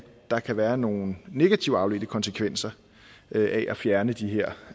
der kan være nogle negative afledte konsekvenser af at fjerne de her